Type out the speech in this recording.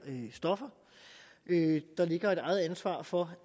stoffer der ligger et eget ansvar for